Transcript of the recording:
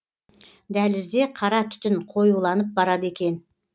дәлізде қара түтін қоюланып барады екен